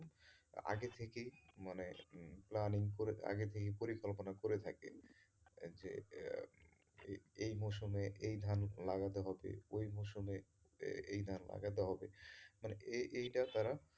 আগে থেকেই মানে উম planning করে আগে থেকেই পরিকল্পনা করে থাকে যে এই মৌসমে এই ধান লাগাতে হবে ওই মৌসমে এই ধান লাগাতে হবে মানে এই এইটা তারা,